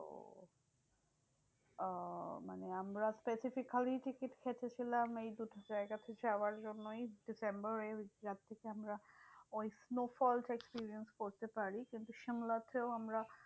আহ মানে আমরা specifically ticket কেটে ছিলাম এই দুটো জায়গাতে যাওয়ার জন্যই ডিসেম্বরে। যার থেকে আমরা ওই snowfall টা experience করতে পারি। কিন্তু সিমলাতেও আমরা